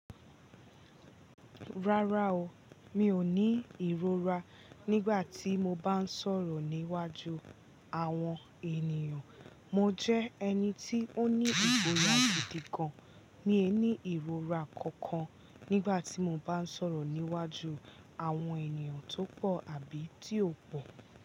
Rárá o, mi ò ní ìrora nígbà tí mo bá ń sọ̀rọ̀ níwájú àwọn ènìyàn. Mo jẹ́ ẹni tí ó ní ìgboya gidi gan, mi ò ní ìrora kankan nígbà tí mo bá ń sọ̀rọ̀ níwájú àwọn ènìyàn tó pọ̀ àbí tí ò pọ̀